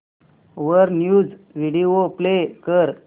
वर news video play कर